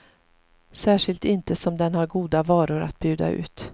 Särskilt inte som den har goda varor att bjuda ut.